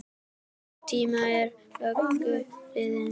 Sá tími er löngu liðinn.